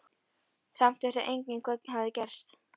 Samt vissi enginn hvað hafði gerst.